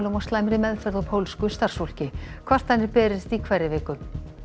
og slæmri meðferð á pólsku starfsfólki kvartanir berist í hverri viku